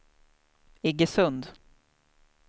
Iggesund